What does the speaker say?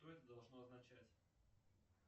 что это должно означать